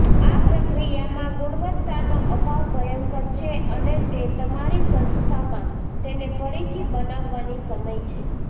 આ પ્રક્રિયામાં ગુણવત્તાનો અભાવ ભયંકર છે અને તે તમારી સંસ્થામાં તેને ફરીથી બનાવવાની સમય છે